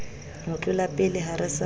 ho tlolapele ha re sa